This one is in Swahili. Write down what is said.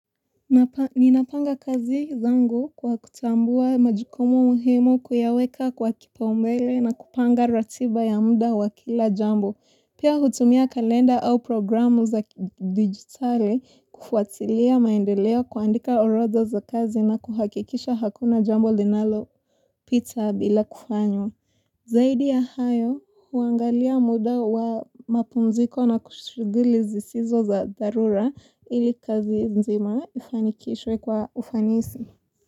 Ninapanga kazi zangu kwa kutambua majukumu muhimu kuyaweka kwa kipaumbele na kupanga ratiba ya muda wa kila jambo, pia hutumia kalenda au programu za digitale kufuatilia maendeleo kuandika orozo za kazi na kuhakikisha hakuna jambo linalo pita bila kufanywa Zaidi ya hayo huangalia muda wa mapunziko na kushiguli zisizo za darura ili kazi nzima ifanikishwe kwa ufanisi.